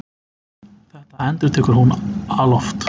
Þetta endurtekur hún alloft.